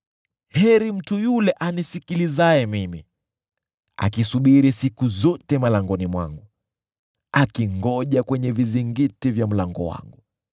Heri mtu yule anisikilizaye mimi, akisubiri siku zote malangoni mwangu, akingoja kwenye vizingiti vya mlango wangu.